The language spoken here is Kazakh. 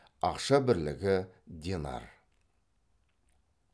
ақша бірлігі денар